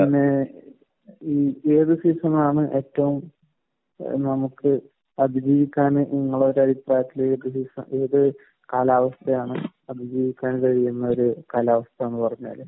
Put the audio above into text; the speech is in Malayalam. ഈ സീസണാണ് ഏറ്റവും നമുക്ക് അതിനേക്കാളും നമ്മളെ ഈ ഒരു കാലാവസ്ഥയാണ്. ഒരു കാലാവസ്ഥയെന്ന് പറഞ്ഞാൽ.